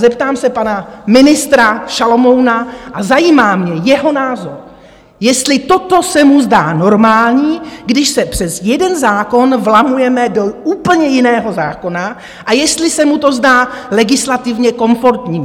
Zeptám se pana ministra Šalomouna - a zajímá mě jeho názor - jestli toto se mu zdá normální, když se přes jeden zákon vlamujeme do úplně jiného zákona a jestli se mu to zdá legislativně komfortní.